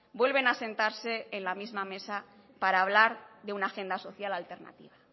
vuelven a sentarse en la misma mesa para hablar de una agenda social alternativa